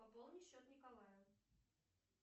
пополни счет николаю